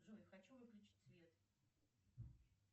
джой хочу выключить свет